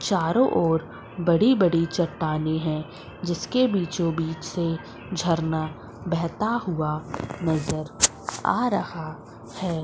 चारों ओर बड़ी बड़ी चट्टानें है जिसके बीचों बीच से झरना बेहता हुआ नजर आ रहा है।